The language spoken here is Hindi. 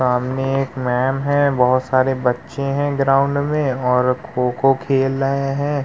सामने एक मेंम हैं। बहुत सारे बच्चे हैं ग्राउंड में और खो-खो खेल रहे हैं।